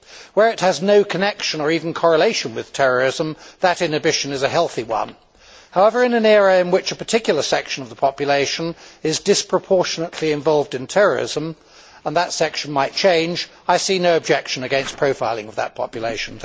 Where this has no connection or even correlation with terrorism, that inhibition is a healthy one. However, in an era in which a particular section of the population is disproportionately involved in terrorism and that section might change I see no objection against profiling of that population.